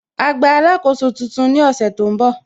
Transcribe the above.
Á gba alákóso tuntun ní ọ̀sẹ̀ tó ń bọ̀